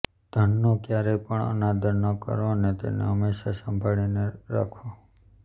ધનનો ક્યારેય પણ અનાદર ન કરો અને હંમેશા તેને સંભાળીને રાખો